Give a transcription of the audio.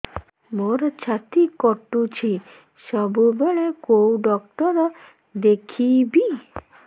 ମୋର ଛାତି କଟୁଛି ସବୁବେଳେ କୋଉ ଡକ୍ଟର ଦେଖେବି